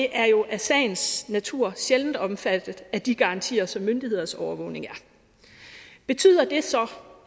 er jo i sagens natur sjældent omfattet af de garantier som myndigheders overvågning er betyder det så